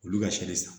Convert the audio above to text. Olu ka seli san